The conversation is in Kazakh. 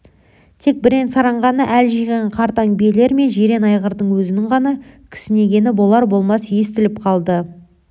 тек бірен-саран ғана әл жиған қартаң биелер мен жирен айғырдың өзінің ғана кісінегені болар-болмас естіліп қалды